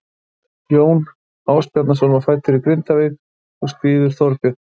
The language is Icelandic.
Jón Ásbjarnarson var fæddur í Grindavík og skírður Þorbjörn.